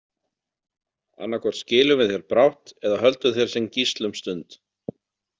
Annaðhvort skilum við þér brátt eða höldum þér sem gísl um stund.